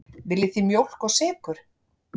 Viljið þið mjólk og sykur?